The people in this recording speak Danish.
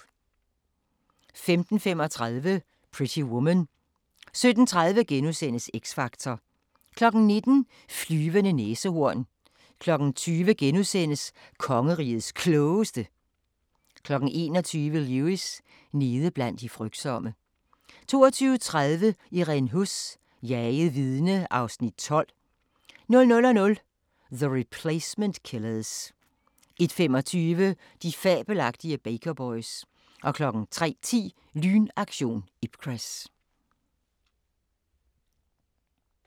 15:35: Pretty Woman 17:30: X Factor * 19:00: Flyvende næsehorn 20:00: Kongerigets Klogeste (7:7) 21:00: Lewis: Nede blandt de frygtsomme 22:30: Irene Huss: Jaget vidne (Afs. 12) 00:00: The Replacement Killers 01:25: De fabelagtige Baker Boys 03:10: Lynaktion Ipcress